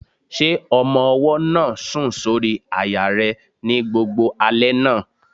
Ṣé ọmọ-ọwọ́ náà sùn sórí àyà rẹ ní gbogbo alẹ́ náà?